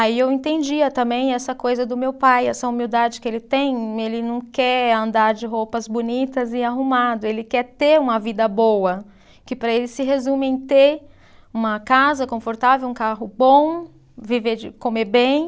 Aí eu entendia também essa coisa do meu pai, essa humildade que ele tem, ele não quer andar de roupas bonitas e arrumado, ele quer ter uma vida boa, que para ele se resume em ter uma casa confortável, um carro bom, viver de, comer bem.